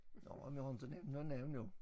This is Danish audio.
Nåh men jeg har inte nævnt noget navn jo